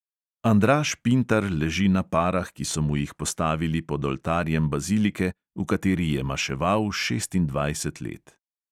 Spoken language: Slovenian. Andraž pintar leži na parah, ki so mu jih postavili pod oltarjem bazilike, v kateri je maševal šestindvajset let.